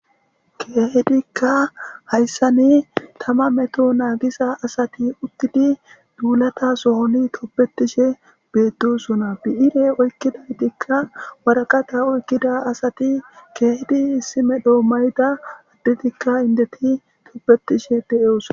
keehidikka hayssani tama meto naagisa asati ugidi duulata sohoni tobetishe beettosona bi7ire oykkidaytikka waraqata oykkida asati keehidi issime doo mayda addetikka indeti tobetishe de7eosa